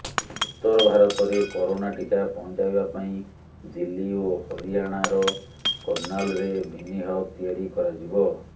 ଉତ୍ତର ଭାରତରେ କରୋନା ଟିକା ପହଞ୍ଚାଇବା ପାଇଁ ଦିଲ୍ଲୀ ଓ ହରିଆଣାର କର୍ଣ୍ଣାଲରେ ମିନି ହବ୍ ତିଆରି କରାଯିବ